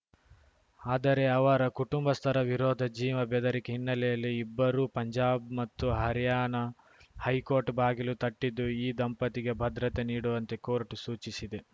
ಆದರೆ ಅವರ ಕುಟುಂಬಸ್ಥರ ವಿರೋಧ ಜೀವ ಬೆದರಿಕೆ ಹಿನ್ನೆಲೆಯಲ್ಲಿ ಇಬ್ಬರೂ ಪಂಜಾಬ್‌ ಮತ್ತು ಹರ್ಯಾಣ ಹೈಕೋರ್ಟ್‌ ಬಾಗಿಲು ತಟ್ಟಿದ್ದು ಈ ದಂಪತಿಗೆ ಭದ್ರತೆ ನೀಡುವಂತೆ ಕೋರ್ಟ್‌ ಸೂಚಿಸಿದೆ